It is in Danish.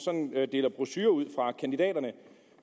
deler brochurer ud fra kandidaterne